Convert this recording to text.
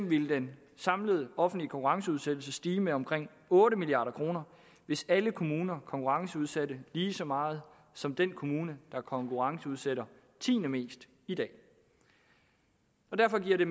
ville den samlede offentlige konkurrenceudsættelse stige med omkring otte milliard kr hvis alle kommuner konkurrenceudsætte lige så meget som den kommune der konkurrenceudsætter tiende mest i dag derfor giver det